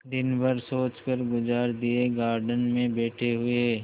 दिन भर सोचकर गुजार दिएगार्डन में बैठे हुए